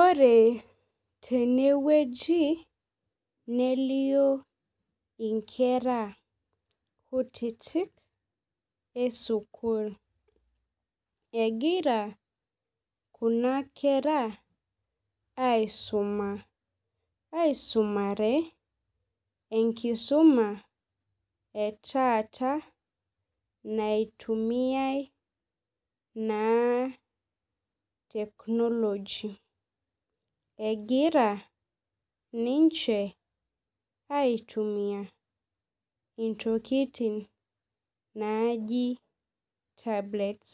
Ore tenewueji nelio inkera kutitik esukul egira kuna kera aisumare enkisuma etaata naitumiai naa technology egira ninche aitumia intokitin najibtablets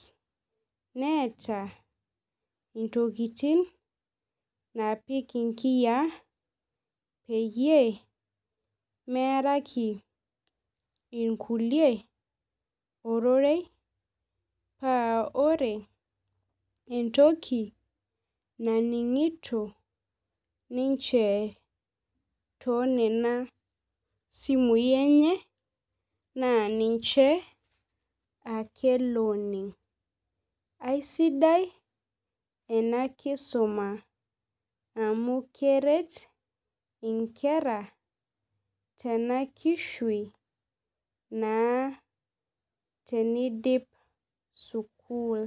neeta ntokitin napik nkiyaa pemeearaki nkulie ororei paa ore entoki naimingito ninche tosikui enye ma nimche ake oning aisidai enakisuma amu keret nkera tenakishui tenidip sukul